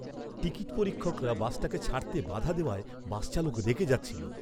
Ticket পরীক্ষকরা বাসটাকে ছাড়তে বাধা দেওয়ায় বাস চালক রেগে যাচ্ছিল।